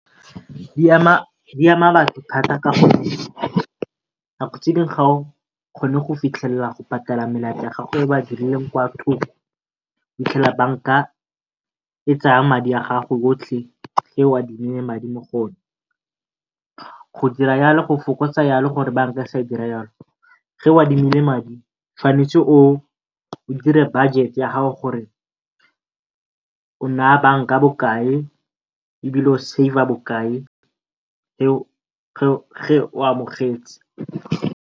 di ama batho thata ka gore nako tse dingwe o kgone go fitlhelela melaetsa ya gago fitlhela banka e tsaya madi a gago otlhe e o adimileng madi mo go one. Go dira go fokotsa gore o adimile madi o tshwanetse o dire budget-e ya gago gore o naya banka bokae ebile o save-a bokae o amogetse.